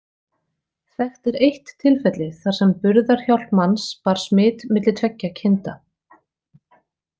Þekkt er eitt tilfelli þar sem burðarhjálp manns bar smit milli tveggja kinda.